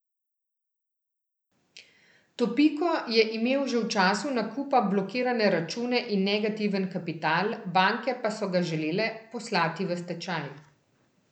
Topiko je imel že v času nakupa blokirane račune in negativen kapital, banke pa so ga želele poslati v stečaj.